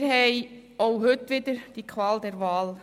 Wir haben auch heute wieder die Qual der Wahl.